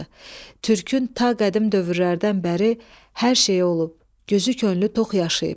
Türkü ta qədim dövrlərdən bəri hər şeyi olub, gözü könlü tox yaşayıb.